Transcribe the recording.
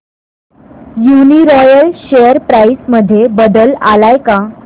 Uniroyal share price मध्ये बदल आलाय का